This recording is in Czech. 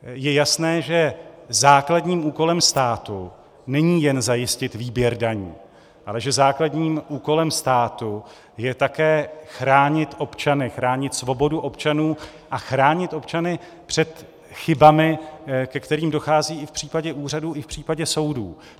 Je jasné, že základním úkolem státu není jen zajistit výběr daní, ale že základním úkolem státu je také chránit občany, chránit svobodu občanů a chránit občany před chybami, ke kterým dochází i v případě úřadů, i v případě soudů.